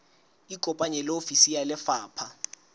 ikopanye le ofisi ya lefapha